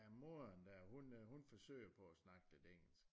Ja moderen der hun forsøger på at snakke lidt engelsk